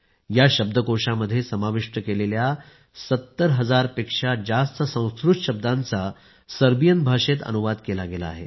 या शब्दकोशामध्ये समाविष्ट केलेल्या संस्कृत 70 हजारपेक्षा जास्त शब्दांचा सर्बियन भाषेत अनुवाद केला गेला आहे